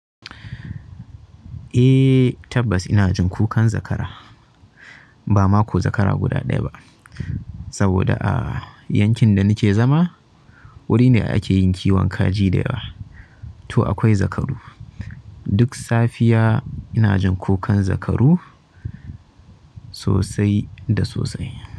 Eh tabbas ina jin ko kukan zakara bama ko zakara guda ɗaya ba, saboda a yankin da nike zama wuri ne ake yin kiwon kaji da yawa. To akwai zakaru duk safiya ina jin ko kukan zakaru sosai da sosai.